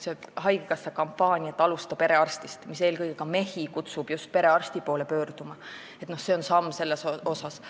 Haigekassa kampaania "Alusta perearstist", mis eelkõige ka mehi kutsub just perearsti poole pöörduma, on samm selles suunas.